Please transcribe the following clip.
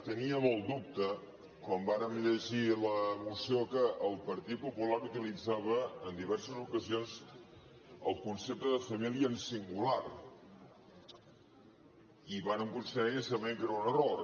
teníem el dubte quan vàrem llegir la moció que el partit popular utilitzava en diverses ocasions el concepte de família en singular i vàrem considerar inicialment que era un error